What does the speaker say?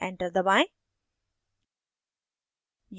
enter दबाएं